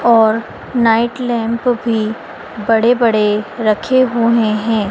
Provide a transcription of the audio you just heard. और night lamp भी बड़े-बड़े रखे हुए हैं।